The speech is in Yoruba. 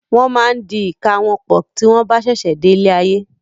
Won máa ń di ìka wọn pọ̀ tí wọn bá sẹsẹ dé ilé ayé.